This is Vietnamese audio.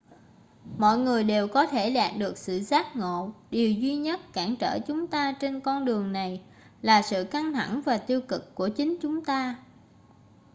mọi người đều có thể đạt được sự giác ngộ điều duy nhất cản trở chúng ta trên con đường này là sự căng thẳng và tiêu cực của chính chúng ta